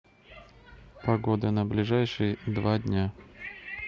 погода на ближайшие два дня